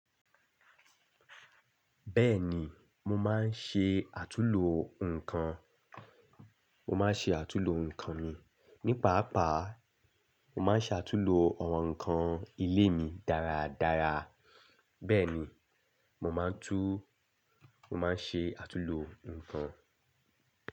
Bẹ́ẹ̀ni, mo máa ń ṣe àtúnlo nǹkan, mo máa ń ṣe àtúnlo nǹkan mi. Ní pàápàá, mo máa ń ṣe àtúnlo àwọn nǹkan ilé mi dáradára. Bẹ́ẹ̀ ni, mo máa ń tú, mo máa ń ṣe àtúnlo nǹkan.